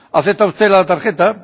¿Acepta usted la tarjeta?